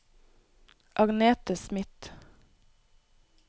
Agnethe Schmidt